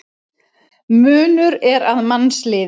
Munur er að mannsliði.